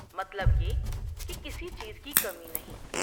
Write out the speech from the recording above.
مطلب یہ کہ کسی چیز کی کمی نہیں ۔